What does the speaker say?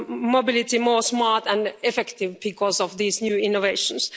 mobility more smart and effective because of these new innovations.